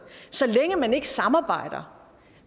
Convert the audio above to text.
så længe man ikke samarbejder